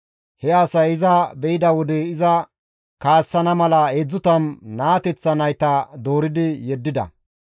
He asay iza be7ida wode iza kaassana mala 30 naateththa nayta dooridi yeddida.